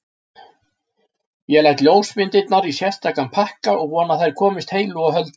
Ég læt ljósmyndirnar í sérstakan pakka og vona að þær komist heilu og höldnu.